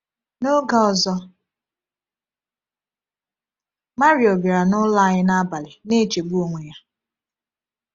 N’oge ọzọ, Mario bịara n’ụlọ anyị n’abalị na-echegbu onwe ya.